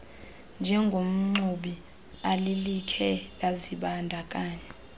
njengomxumi alilikhe lazibandakanya